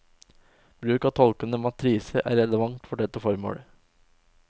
Bruk av tolkende matriser er relevant for dette formålet.